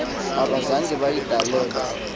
abazange bayidale lwe